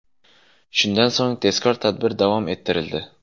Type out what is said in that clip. Shundan so‘ng tezkor tadbir davom ettirildi.